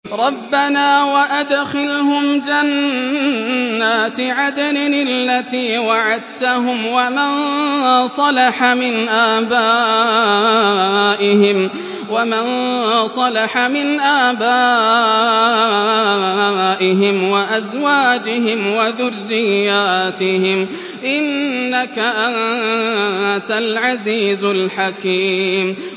رَبَّنَا وَأَدْخِلْهُمْ جَنَّاتِ عَدْنٍ الَّتِي وَعَدتَّهُمْ وَمَن صَلَحَ مِنْ آبَائِهِمْ وَأَزْوَاجِهِمْ وَذُرِّيَّاتِهِمْ ۚ إِنَّكَ أَنتَ الْعَزِيزُ الْحَكِيمُ